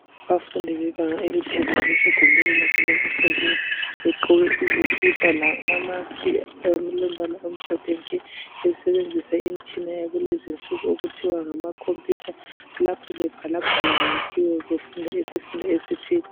Abafundi bebanga eliphezulu besegumbini labo lokufundela begqoke izikipa lamamaski alombala omhlophe nke, besebenzisa imitshina yakulezi insuku okuthiwa ngamakhompiyutha lapho bebhalabhala kiwo befunda isifundo seICT.